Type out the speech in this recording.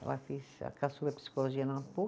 Ela fez, a caçula, psicologia na